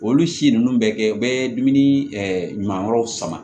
Olu si ninnu bɛ kɛ u bɛ dumuni ɲuman wɛrɛw sama